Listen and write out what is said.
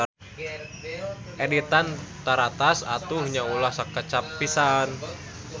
Editan taratas atuh nya ulah sakecap pisan.